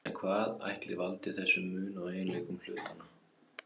En hvað ætli valdi þessum mun á eiginleikum hlutanna?